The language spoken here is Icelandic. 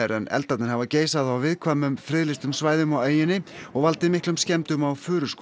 en eldarnir hafa geisað á viðkvæmum friðlýstum svæðum á eyjunni og valdið miklum skemmdum á